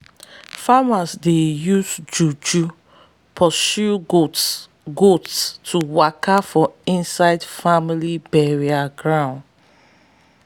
farmers dey use juju to pursue goats goats to waka for inside family burial ground.